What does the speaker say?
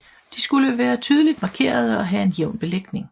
De skulle være tydeligt markerede og have en jævn belægning